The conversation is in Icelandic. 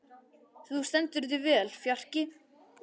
Þú stendur þig vel, Fjarki!